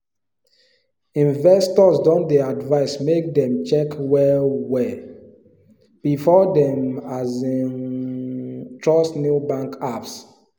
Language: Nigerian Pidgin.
investors don dey advise make dem check well well before dem um trust new bank apps